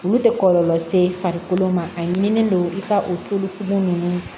Olu tɛ kɔlɔlɔ se farikolo ma a ye ɲinini don i ka o tulu fugu ninnu